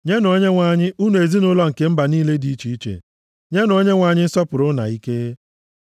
Nyenụ Onyenwe anyị, unu ezinaụlọ nke mba niile dị iche iche, nyenụ Onyenwe anyị nsọpụrụ na ike.